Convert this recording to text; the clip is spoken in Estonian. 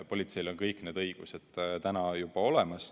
Politseil on kõik need õigused täna juba olemas.